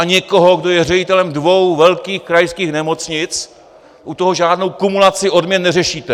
A někdo, kdo je ředitelem dvou velkých krajských nemocnic, u toho žádnou kumulaci odměn neřešíte.